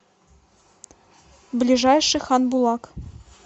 ближайший хан булак